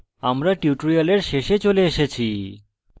আমরা tutorial শেষে চলে এসেছি